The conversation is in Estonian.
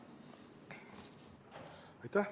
Aitäh!